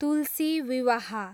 तुलसी विवाह